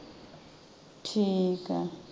ਠੀਕ ਆ